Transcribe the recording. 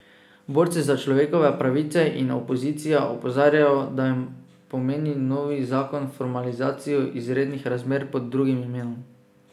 Borci za človekove pravice in opozicija opozarjajo, da pomeni novi zakon formalizacijo izrednih razmer pod drugim imenom.